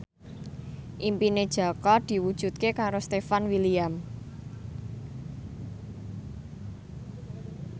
impine Jaka diwujudke karo Stefan William